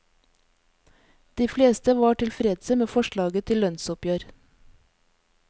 De fleste var tilfredse med forslaget til lønnsoppgjør.